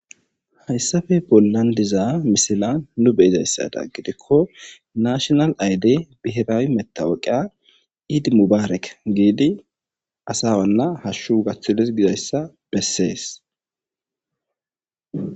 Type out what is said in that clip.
Hayssappe bollan diza misila nu beyizayssada gidikko naashonal ayde bihiraawi metawoqia iidi mubaarek giidi asa wanna hashshu gaththidees gizayssa bessees.